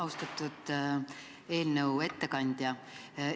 Austatud eelnõu ettekandja!